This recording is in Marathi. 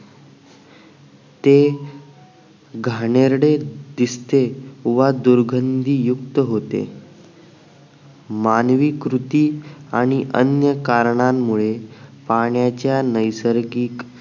ते घाणेरडे दिसते व दुर्गंधीयुक्त होते मानवी कृती आणि अन्य कारणामुळे पाण्याच्या नैसर्गिक